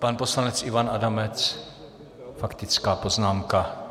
Pan poslanec Ivan Adamec - faktická poznámka.